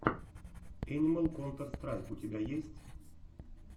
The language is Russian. энимал контэр страйк у тебя есть